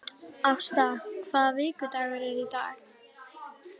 Ásta, hvaða vikudagur er í dag?